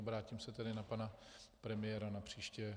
Obrátím se tedy na pana premiéra napříště.